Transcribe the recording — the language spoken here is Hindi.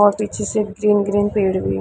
और पीछे से ग्रीन ग्रीन पेड़ भी --